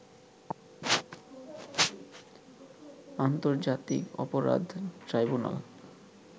আন্তর্জাতিক অপরাধ ট্রাইবুনাল